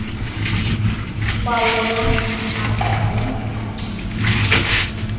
kwawona maqondo angcono